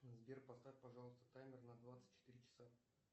сбер поставь пожалуйста таймер на двадцать четыре часа